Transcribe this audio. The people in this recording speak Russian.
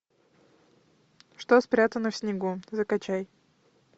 что спрятано в снегу закачай